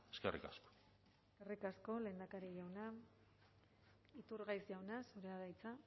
eskerrik asko eskerrik asko lehendakari jauna iturgaiz jauna zurea da hitza